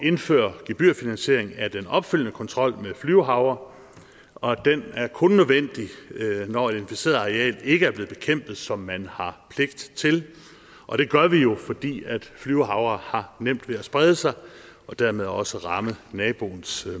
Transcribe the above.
indføre gebyrfinansiering af den opfølgende kontrol med flyvehavre og den er kun nødvendig når et inficeret areal ikke er blevet bekæmpet som man har pligt til og det gør vi jo fordi flyvehavre har nemt ved at sprede sig og dermed også ramme naboens